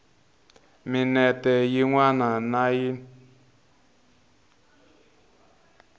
minete yin wana na yin